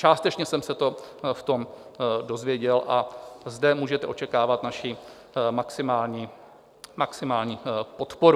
Částečně jsem se to v tom dozvěděl a zde můžete očekávat naši maximální podporu.